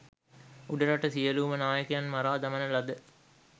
උඩරට සියලූම නායකයන් මරා දමන ලද